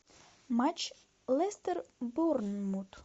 матч лестер борнмут